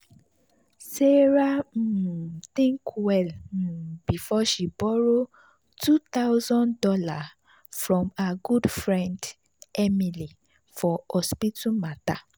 sarah um think well um before she borrow two thousand dollars from her good friend emily for hospital matter.